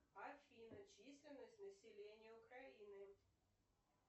афина численность населения украины